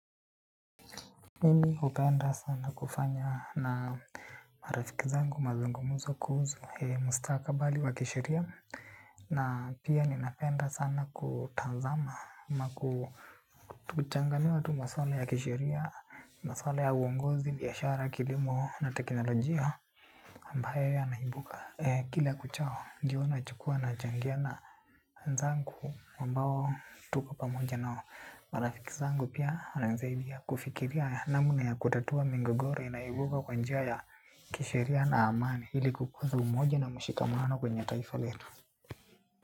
Mimi hupenda sana kufanya na marafiki zangu mazungumuzo kuhusu mustakabali wa kisheria na pia ninapenda sana kutazama ama kuchanganua tu maswala ya kisheria, maswala ya uongozi, biashara, kilimo na teknolojia ambayo yanaibuka. Kila kuchao, ndiyo nachukua nachangia na wenzangu ambao tuko pamoja na marafiki zangu pia. Na zaidi ya kufikiria namna ya kutatua migogoro inayoibuka kwa njia ya kisheria na amani ili kukuza umoja na mshikamano kwenye taifa letu.